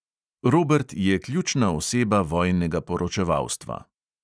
Robert je ključna oseba vojnega poročevalstva.